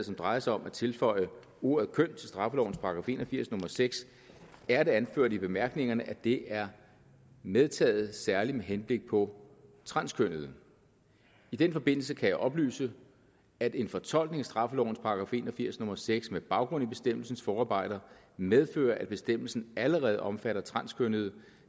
som drejer sig om at tilføje ordet køn til straffeloven § en og firs nummer seks er det anført i bemærkningerne at det er medtaget særlig med henblik på transkønnede i den forbindelse kan jeg oplyse at en fortolkning af straffelovens § en og firs nummer seks med baggrund i bestemmelsens forarbejder medfører at bestemmelsen allerede omfatter transkønnede